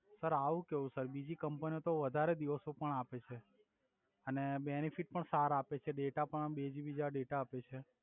Sir આવુ કેવુ sir બીજી કમ્પનીઓ તો વધારે દિવસો પણ આપે છે અને બેનિફિટ પણ સર આપે છે ડેટા પણ બે જીબી જેવા ડેટા આપે છે.